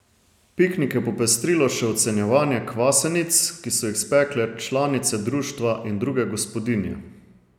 Piknik je popestrilo še ocenjevanje kvasenic, ki so jih spekle članice društva in druge gospodinje.